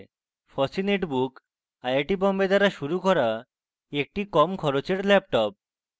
fossee netbook iit Bombay দ্বারা শুরু করা একটি কম খরচের laptop